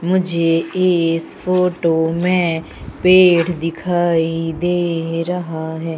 मुझे इस फोटो में पेड़ दिखाई दे रहा है।